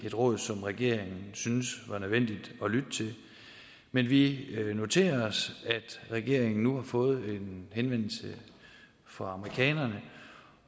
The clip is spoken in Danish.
et råd som regeringen syntes var nødvendigt at lytte til men vi noterer os at regeringen nu har fået en henvendelse fra amerikanerne